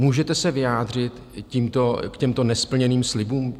Můžete se vyjádřit k těmto nesplněným slibům?